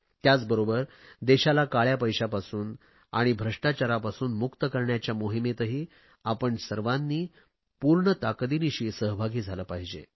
त्याचबरोबर देशाला काळया पैशापासून आणि भ्रष्टाचारापासून मुक्त करण्याच्या मोहिमेतही आपण सर्वांनी पूर्ण ताकतीनिशी सहभागी झाले पाहिजे